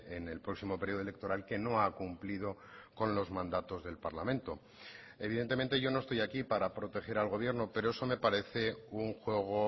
en el próximo periodo electoral que no ha cumplido con los mandatos del parlamento evidentemente yo no estoy aquí para proteger al gobierno pero eso me parece un juego